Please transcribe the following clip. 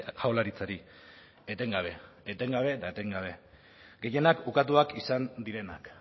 jaurlaritzari etengabe etengabe eta etengabe gehienak ukatuak izan direnak